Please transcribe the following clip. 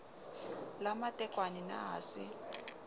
la matekwane na ha se